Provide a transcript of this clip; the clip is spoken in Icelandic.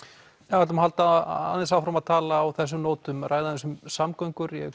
við ætlum að halda aðeins áfram á þessum nótum ræða um samgöngur ég